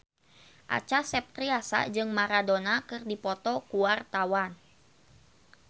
Acha Septriasa jeung Maradona keur dipoto ku wartawan